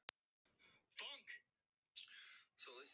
Þá fussaði Lilja gamla enn hærra.